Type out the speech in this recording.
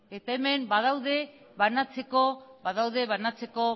eta hemen badaude banatzeko